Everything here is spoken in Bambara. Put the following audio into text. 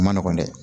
A ma nɔgɔn dɛ